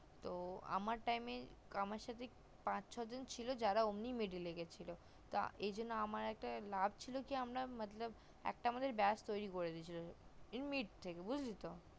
তো আমার time এ আমার সাথে পাঁচ ছজন ছিল যারা meddle অমনি গিয়েছিলো এইজন্য আমার একটা লাভ ছিল কি আমরা কি মতলব একটা আমাদের beach তৌরি করে দিয়েছিলো লাভ ছিল কি থেকে বুজলি তো